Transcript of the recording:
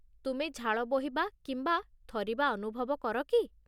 ତୁମେ ଝାଳ ବୋହିବା କିମ୍ବା ଥରିବା ଅନୁଭବ କର କି?